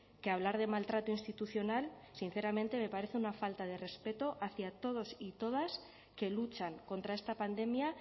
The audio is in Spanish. que hablar de maltrato institucional sinceramente me parece una falta de respeto hacia todos y todas que luchan contra esta pandemia